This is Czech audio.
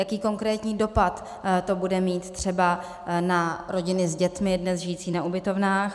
Jaký konkrétní dopad to bude mít třeba na rodiny s dětmi dnes žijící na ubytovnách?